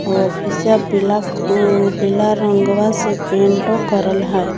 आफीसिया पीला पींग - पीला रंगवा से पेंटो करल है।